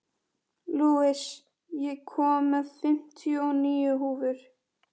Louise, ég kom með fimmtíu og níu húfur!